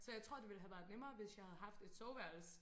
Så jeg tror det ville have været nemmere hvis jeg havde haft et soveværelse